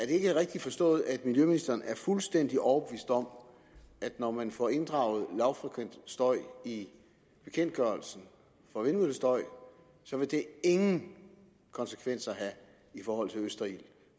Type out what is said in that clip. ikke rigtigt forstået at miljøministeren er fuldstændig overbevist om at når man får inddraget lavfrekvent støj i bekendtgørelsen for vindmøllestøj vil det ingen konsekvenser have i forhold til østerild